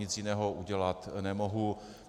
Nic jiného udělat nemohu.